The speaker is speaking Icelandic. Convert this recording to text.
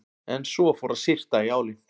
En svo fór að syrta í álinn.